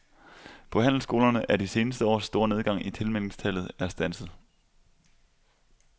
På handelsskolerne er de seneste års store nedgang i tilmeldingstallet er standset.